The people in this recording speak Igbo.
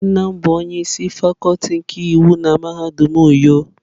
Nne m bu onye isi Fakuti nke iwu na mahadum uyo.